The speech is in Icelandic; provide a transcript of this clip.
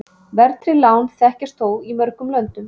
Verðtryggð lán þekkjast þó í mörgum löndum.